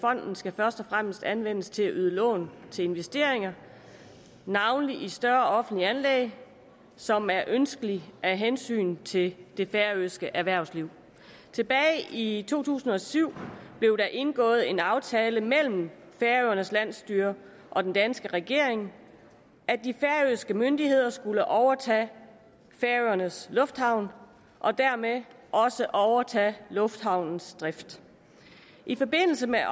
fonden skal først og fremmest anvendes til at yde lån til investeringer navnlig i større offentlige anlæg som er ønskelige af hensyn til det færøske erhvervsliv tilbage i to tusind og syv blev der indgået en aftale mellem færøernes landsstyre og den danske regering om at de færøske myndigheder skulle overtage færøernes lufthavn og dermed også overtage lufthavnens drift i forbindelse med